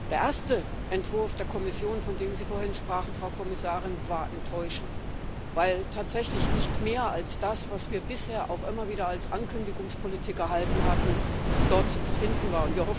Der erste Entwurf der Kommission, von dem Sie vorhin sprachen, Frau Kommissarin, war enttäuschend, weil tatsächlich nicht mehr als das, was wir bisher auch immer wieder als Ankündigungspolitik erhalten hatten, dort zu finden war.